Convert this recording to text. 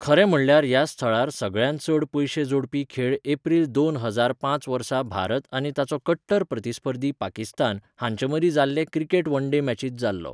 खरें म्हणल्यार ह्या स्थळार सगळ्यांत चड पयशे जोडपी खेळ एप्रिल दोन हजार पांच वर्सा भारत आनी ताचो कट्टर प्रतिस्पर्धी पाकिस्तान हांचे मदीं जाल्ले क्रिकेट वनडे मॅचींत जालो.